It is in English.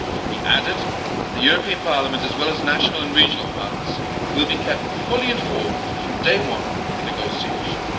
He added that the European Parliament, as well as national and regional parliaments, would be kept fully informed from day one of the negotiations.